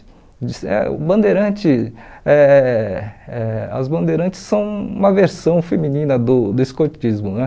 O dis eh o Bandeirante, eh eh as bandeirantes são uma versão feminina do do escotismo, né?